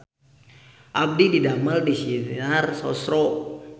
Abdi didamel di Sinar Sosro